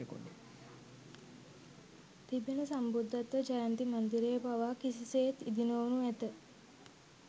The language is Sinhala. තිබෙන සම්බුද්ධත්ව ජයන්ති මන්දිරය පවා කිසිසේත් ඉදිනොවනු ඇත